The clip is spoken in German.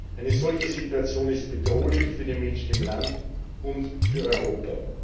Eine solche Situation ist bedrohlich für die Menschen im Land und für Europa.